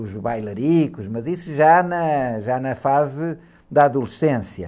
os bailaricos, mas isso já na, já na fase da adolescência.